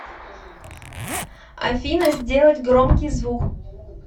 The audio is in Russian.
афина сделать громкий звук